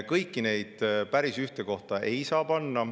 Kõiki neid päris ühte kohta ei saa panna.